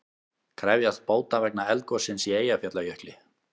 Krefjast bóta vegna eldgossins í Eyjafjallajökli